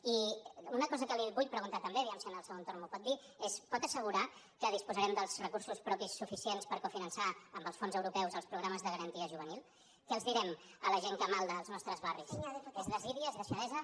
i una cosa que li vull preguntar també a veure si en el segon torn m’ho pot dir és pot assegurar que disposarem dels recursos propis suficients per cofinançar amb els fons europeus els programes de garanties juvenils què els direm a la gent que malda als nostres barris és desídia és deixadesa